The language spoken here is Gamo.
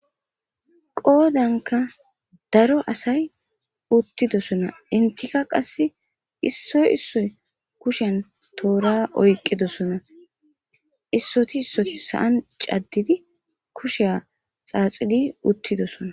qoodanka daro asay uttidosona intika qase issoy issoy kushen toora oyqidosona issoti issoti sa7an caddidi kusheya xaaxigi uttidosona